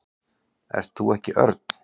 Ert þú ekki Örn?